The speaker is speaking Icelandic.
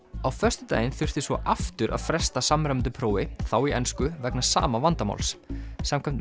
á föstudaginn þurfti svo aftur að fresta samræmdu prófi þá í ensku vegna sama vandamáls samkvæmt